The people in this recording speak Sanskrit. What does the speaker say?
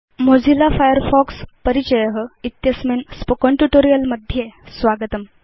मोजिल्ला फायरफॉक्स परिचय इत्यस्मिन् स्पोकेन ट्यूटोरियल् मध्ये स्वागतम्